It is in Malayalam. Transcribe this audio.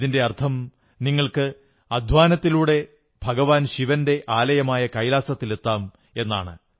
ഇതിന്റെ അർഥം നിങ്ങൾക്ക് അധ്വാനത്തിലൂടെ ഭഗവാൻ ശിവന്റെ ആലയമായ കൈലാസത്തിലെത്താം എന്ന്